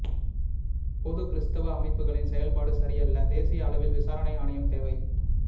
பொது கிறிஸ்துவ அமைப்புகளின் செயல்பாடு சரியல்ல தேசிய அளவில் விசாரணை ஆணையம் தேவை